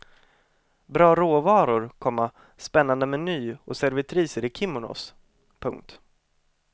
Bra råvaror, komma spännande meny och servitriser i kimonos. punkt